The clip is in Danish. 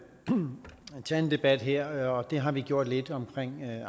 debat her og det har vi gjort lidt om